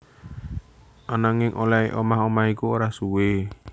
Ananging olèhé omah omah iku ora suwé